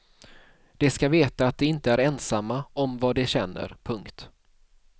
De ska veta att de inte är ensamma om vad de känner. punkt